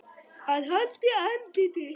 AÐ HALDA ANDLITI